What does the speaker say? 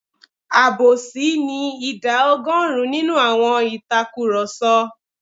Àbòsí ni ìdá ọgọ́rùn-ún nínú àwọn ìtakurọ̀sọ.